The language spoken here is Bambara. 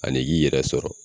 Ali y'i yɛrɛ sɔrɔ.